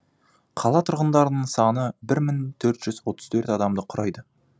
қала тұрғындарының саны бір мың төрт жүз отыз төрт адамды құрайды